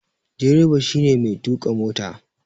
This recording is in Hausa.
Direba shi ne Mai tuka mota.